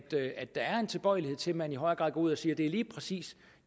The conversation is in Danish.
der er en tilbøjelighed til at man i højere grad går ud og siger at det lige præcis